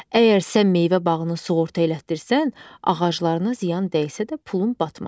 Əgər sən meyvə bağını sığorta elətdirsən, ağaclarına ziyan dəysə də pulun batmaz.